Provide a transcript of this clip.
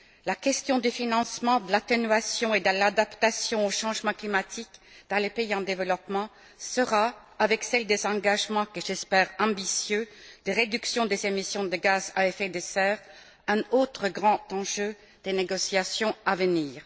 La question du financement, de l'atténuation et de l'adaptation au changement climatique dans les pays en développement sera, avec celle des engagements, que j'espère ambitieux, de réduction des émissions de gaz à effet de serre, un autre grand enjeu des négociations à venir.